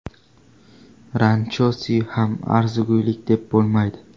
Ranchosi ham arzigulik deb bo‘lmaydi.